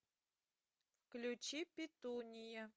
включи петуния